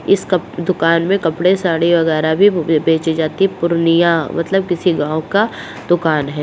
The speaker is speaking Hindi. इस कप दुकान में कपड़े साड़ी वागरे भी बेंचे जाती है पूर्णियां मतलब किसी गाँव का दोकान है।